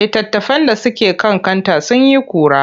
Litattafan da suke kan kanta sun yi ƙura.